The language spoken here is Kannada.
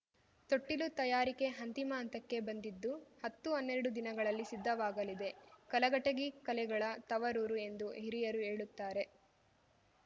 ತೊಟ್ಟಿಲು ತಯಾರಿಕೆ ಅಂತಿಮ ಹಂತಕ್ಕೆ ಬಂದಿದ್ದು ಹತ್ತುಹನ್ನೆರಡು ದಿನಗಳಲ್ಲಿ ಸಿದ್ಧವಾಗಲಿದೆ ಕಲಘಟಗಿ ಕಲೆಗಳ ತವರೂರು ಎಂದು ಹಿರಿಯರು ಹೇಳುತ್ತಾರೆ